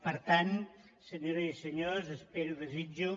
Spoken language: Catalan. per tant senyores i senyors espero i desitjo